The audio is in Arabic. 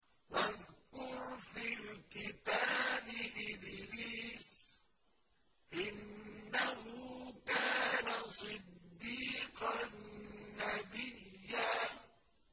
وَاذْكُرْ فِي الْكِتَابِ إِدْرِيسَ ۚ إِنَّهُ كَانَ صِدِّيقًا نَّبِيًّا